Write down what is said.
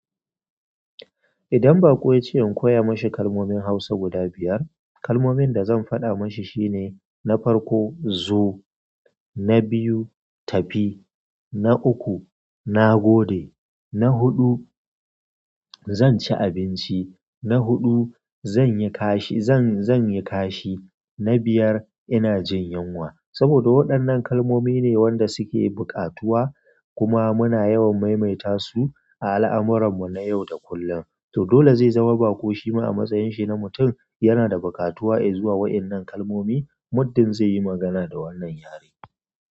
Idan baƙo ya ce in koya mashi kalmomin hausa guda biyar, kalmomin da zan faɗa mashi shine na farko "zo", na biyu "tafi", na uku "na gode", na huɗu "zan ci abinci", na huɗu," zan yi kashi", "zan yi kashi", na biyar "ina jin yunwa", saboda waɗannan kalmomi ne wanda suke buƙatuwa kuma muna yawan maimaita su a al'amuran mu na yau da kullun, to dole zai zama baƙo shi ma a matsayin shi na mutun yana da buƙatuwa i zuwa wa 'nnan kalmomi muddin zai yi magana da wannan yare,